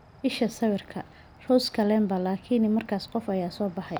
Isha sawirka, Rose Kalemba Laakiin markaas qof ayaa soo baxay.